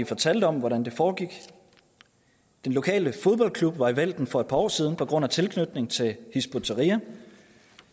fortalte om hvordan det foregik den lokale fodboldklub var i vælten for et par år siden på grund af tilknytning til hizb ut tahrir